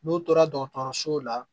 N'u tora dɔgɔtɔrɔsow la